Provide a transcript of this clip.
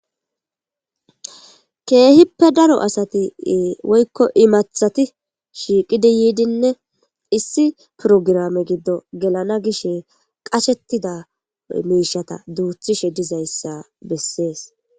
keehippe daro asati woykko imathati shiiqidi yiidinne issi purograme giddo gelana gishe qashettida miishata duuthishe dizayssa bessees